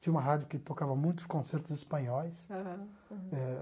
Tinha uma rádio que tocava muitos concertos espanhóis. Aham. Eh